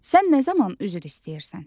Sən nə zaman üzr istəyirsən?